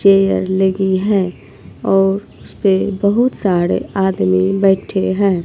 Chair लगी है और उसपे बहुत साड़े आदमी बैठे हैं।